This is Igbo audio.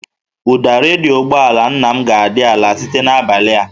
Ụda redio ụgbọala nna m ga-adị ala site n'abalị a